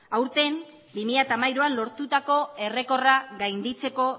aurten bi mila hamairuan lortutako errekorra gainditzeko